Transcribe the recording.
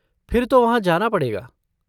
फिर तो वहाँ जाना पड़ेगा।